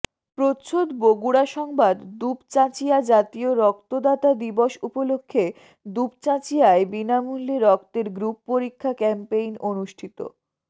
প্রচ্ছদ বগুড়া সংবাদ দুপচাচিঁয়া জাতীয় রক্তদাতা দিবস উপলক্ষে দুপচাঁচিয়ায় বিনামূল্যে রক্তের গ্রুপ পরীক্ষা ক্যাম্পেইন অনুষ্ঠিত